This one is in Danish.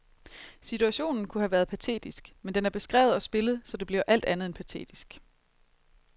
Situationen kunne have været patetisk, men den er beskrevet og spillet, så det bliver alt andet end patetisk.